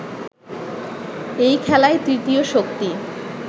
এই খেলায় তৃতীয় শক্তি